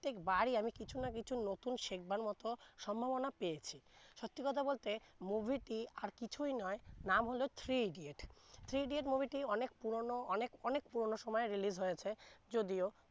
প্রত্যেক বারি আমি কিছু না কিছু নতুন শেখাবার মত সম্ভাবনা পেয়েছি সত্যি কথা বলতে movie টি আর কিছুই নয় নাম হলো three idiots, three idiots movie টি অনেক পুরোন অনেক অনেক পুরনো সময় release হয়েছে যদিও